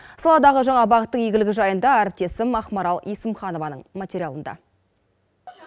саладағы жаңа бағыттың игілігі жайында әріптесім ақмарал есімханованың материалында